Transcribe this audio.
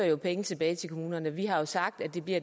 jo penge tilbage til kommunerne vi har jo sagt at det bliver